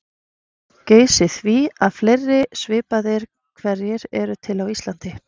Geysi því að fleiri svipaðir hverir eru til á Íslandi.